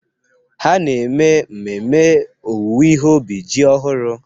Ha na-eme mmemme owuwe ihe ubi ji ọhụrụ.